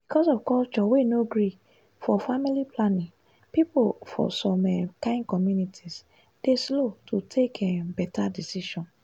because of culture wey no gree for family planning people for some um kain communities dey slow to take um beta decision.